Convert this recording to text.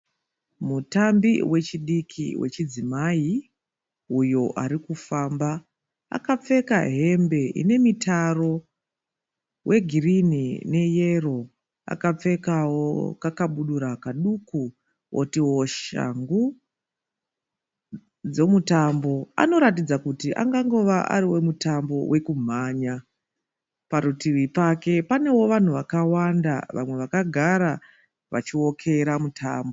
Mutambi wechidiki wechidzimai uyo arikufamba. Akapfeka hembe inemitaro wegirini neyero. Akapfekawo kakabudura kadiki otiwo shangu dzemutambo. Anoratidza kuti angangova ari wemutambo wekumhanya. Parutivi pake panevo vanhu vakagara vachiokera mutambo.